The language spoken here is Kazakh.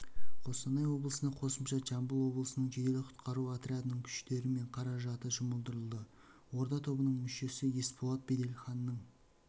қостанай облысына қосымша жамбыл облысының жедел-құтқару отрядының күштері мен қаражаты жұмылдырылды орда тобының мүшесі есболат беделханның